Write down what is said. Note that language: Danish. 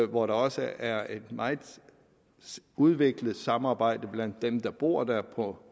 hvor der også er et meget udviklet samarbejde blandt dem der bor der på